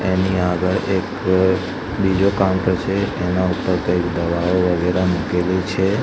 એની આગળ એક બીજો કાઉન્ટર છે એના ઉપર કઈક દવાઓ વગેરા મૂકેલી છે.